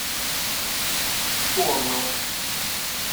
соннам